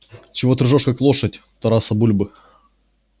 чего ты ржёшь как лошадь тараса бульбы